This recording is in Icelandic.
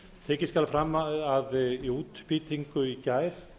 tekið skal fram að í útbýtingu í gær